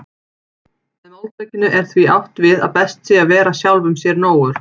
Með máltækinu er því átt við að best sé að vera sjálfum sér nógur.